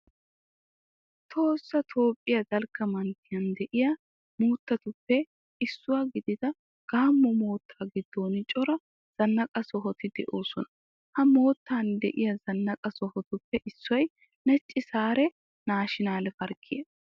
Tohossa toophphiya dalgga manttiyan de'iya moottatuppe issuwa gidida gaammo moottaa giddon cora zannaqa sohoti de'oosona. Ha moottan de'iya zannaqa sohotuppe issoy necci saare naashinaale parkkiya.